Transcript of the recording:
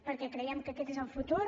perquè creiem que aquest és el futur